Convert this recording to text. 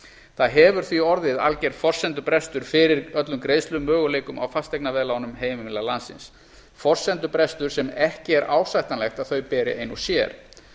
það hefur því orðið alger forsendubrestur fyrir öllum greiðslumöguleikum á fasteignaveðlánum heimila landsins forsendubrestur sem ekki er ásættanlegt að þau beri ein og sér